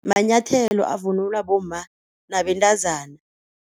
Manyathelo avunulwa bomma nabentazana.